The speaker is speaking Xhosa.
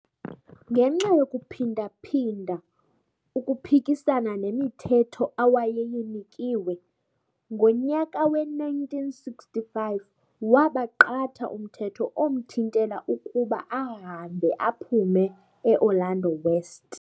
Ngenxa yokuphinda-phinda ukuphikisana nemithetho awayeyinikiwe, ngonyaka we-1965 wabaqatha umthetho omthintela ukuba ahambe aphume e-Orlando West.